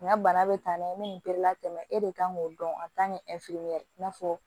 N ka bana bɛ taa n'a ye n bɛ nin bɛɛ latɛmɛ e de kan k'o dɔn i n'a fɔ